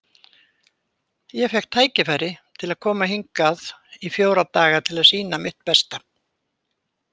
Ég fékk tækifæri til að koma hingað í fjóra daga til að sýna mitt besta.